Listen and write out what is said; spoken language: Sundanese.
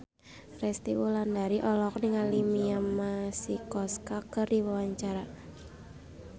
Resty Wulandari olohok ningali Mia Masikowska keur diwawancara